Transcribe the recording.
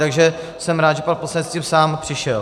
Takže jsem rád, že pan poslanec s tím sám přišel.